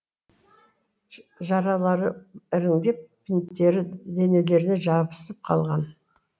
жаралары іріңдеп бинттері денелеріне жабысып қалған